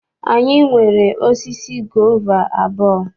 Anyị nwere osisi gova abụọ.